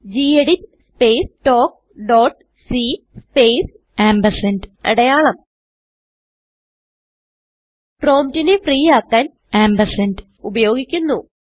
geditസ്പേസ് തൽക്ക് ഡോട്ട് cസ്പേസ്അടയാളം promptനെ ഫ്രീ ആക്കാൻ ആംപർസാൻഡ് ആംപ് ഉപയോഗിക്കുന്നു